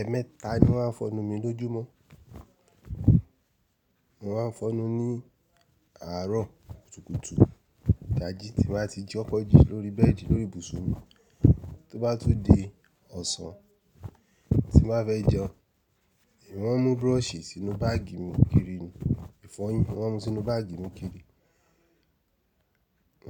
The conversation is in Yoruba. Ẹẹ̀meẹta ni mọ́ máa ń fọnu mi lójúmọ́. Mo máa ń fọnu ní àárọ̀ kùtùkùtù, idáji tí n bá ti koko ji lóri bẹ́ẹ̀dì lóri ibùsùn mi. Tó bá tun di ọ̀sán tí n bá fẹ́ jẹun, èmí maa ń mú brush sínú báàgì mi kiri ni, ìfọyín mọ́ maa ń mú sínú báàgì mi kiri.